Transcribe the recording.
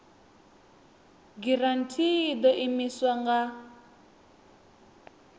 giranthi i ḓo imiswa nga